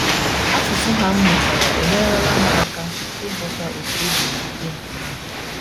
Asụsụ ha m mụtara enyerela m aka ịghọta otú obi na - adị ha.